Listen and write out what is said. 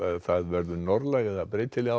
það verður norðlæg eða breytileg átt